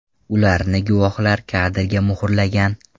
Ularni guvohlar kadrga muhrlagan.